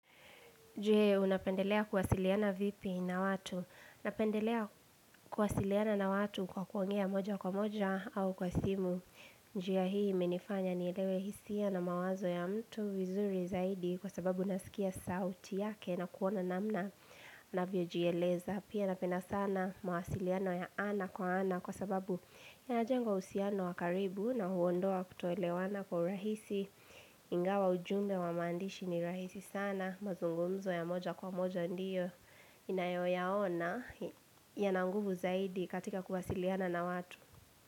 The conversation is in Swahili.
Jee unapendelea kuwasiliana vipi na watu. Napendelea kuwasiliana na watu kwa kuongea moja kwa moja au kwa simu. Njia hii imenifanya nielewe hisia na mawazo ya mtu vizuri zaidi kwa sababu nasikia sauti yake na kuona namna navyojieleza. Pia napenda sana mawasiliano ya ana kwa ana kwa sababu inajenga uhusiano wa karibu na huondoa kutoelewana kwa urahisi. Ingawa ujumbe wa mwandishi ni rahisi sana. Mazungumzo ya moja kwa moja ndiyo ninayoyaona yana nguvu zaidi katika kuwasiliana na watu.